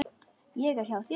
Ég er hjá þér núna.